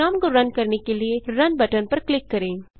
programme को run करने के लिए रुन बटन पर क्लिक करें